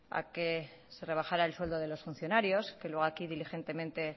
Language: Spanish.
a que se rebajara el sueldo de los funcionarios que luego aquí diligentemente